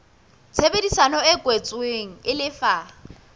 tshebedisano e kwetsweng e lefa